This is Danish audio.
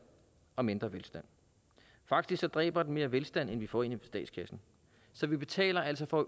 og mindre velstand faktisk dræber den mere velstand end vi får ind i statskassen så vi betaler altså for